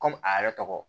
Kɔmi a yɛrɛ tɔgɔ